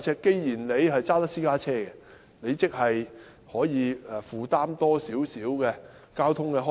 既然市民駕駛私家車，即他們能負擔多一點交通開支。